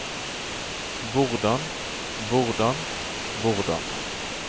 hvordan hvordan hvordan